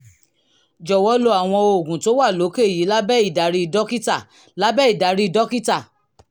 jọ̀wọ́ lo àwọn oògùn tó wà lókè yìí lábẹ́ ìdarí dókítà lábẹ́ ìdarí dókítà